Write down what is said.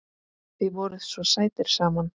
Þið voruð svo sætir saman.